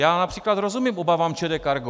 Já například rozumím obavám ČD Cargo.